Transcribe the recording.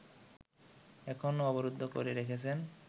এখনো অবরুদ্ধ করে রেখেছেন